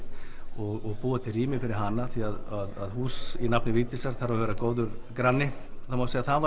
og búa til rými fyrir hana því að hús í nafni Vigdísar þarf að vera góður granni það má segja að það